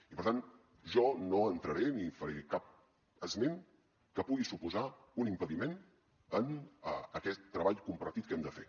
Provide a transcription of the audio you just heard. i per tant jo no entraré ni faré cap esment que pugui suposar un impediment a aquest treball compartit que hem de fer